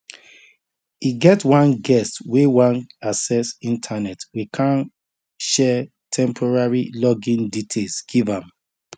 e get one guest wey wan access internet we kan share temporary login details give am